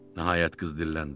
Nəhayət qız dilləndi.